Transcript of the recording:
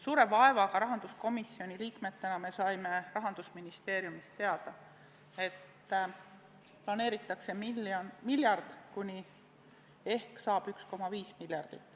Suure vaevaga saime rahanduskomisjoni liikmetena Rahandusministeeriumist teada, et planeeritakse 1 miljard kuni – ehk saab – 1,5 miljardit.